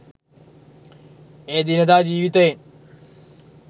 එය එදිනෙදා ජීවිතයෙන්